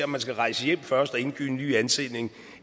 man skal rejse hjem først og indgive en ny ansøgning